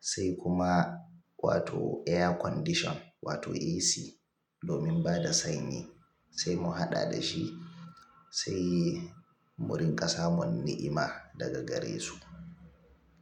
sai kuma wato air condition wato AC, domin bada sanyi sai mu haɗa dashi sai wurin ƙasa mun ni'ima daga gare su.